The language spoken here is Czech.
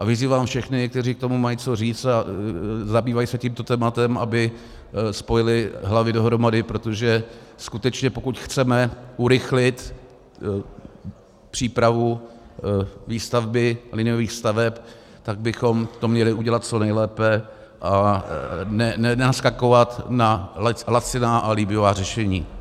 A vyzývám všechny, kteří k tomu mají co říct a zabývají se tímto tématem, aby spojili hlavy dohromady, protože skutečně, pokud chceme urychlit přípravu výstavby liniových staveb, tak bychom to měli udělat co nejlépe a nenaskakovat na laciná a líbivá řešení.